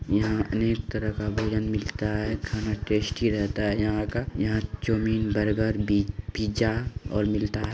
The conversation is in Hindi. यहाँ अनेक तरह का भोजन मिलता है। खाना टेस्टी रहता है यहाँ का। यहाँ चाउमीन बर्गर बि पिज़्ज़ा और मिलता है।